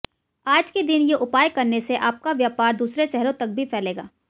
आज के दिन ये उपाय करने से आपका व्यापार दूसरे शहरों तक भी फैलेगा